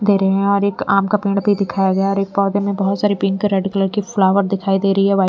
दे रहे हैं और एक आम का पेड़ भी दिखाया गया और एक पौधे में बहुत सारी पिंक रेड कलर की फ्लावर दिखाई दे रही है वाइ--